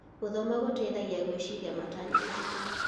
Gũthoma gũteithagia gwĩciria matanya maitũ.